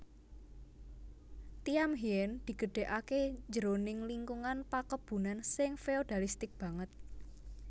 Thiam Hien digedhèkaké jroning lingkungan pakebunan sing feodalistik banget